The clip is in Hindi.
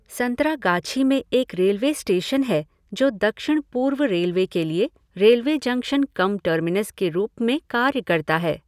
संतरागाछी में एक रेलवे स्टेशन है जो दक्षिण पूर्व रेलवे के लिए रेलवे जंक्शन कम टर्मिनस के रूप में कार्य करता है।